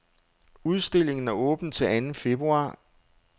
Udstillingen er åben til anden februar.